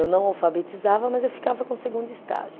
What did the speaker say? Eu não alfabetizava, mas eu ficava com o segundo estágio.